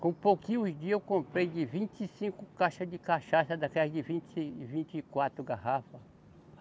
Com pouquinhos dia eu comprei de vinte e cinco caixa de cachaça, daquelas de vinte e, vinte e quatro garrafa.